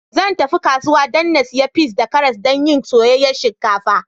Zan tafi kasuwa dan na siya peas da karas dan yin soyayyan shinkafa.